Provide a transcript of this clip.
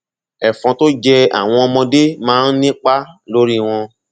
ẹfọn tó jẹ àwọn ọmọdé máa ń nípa lórí wọn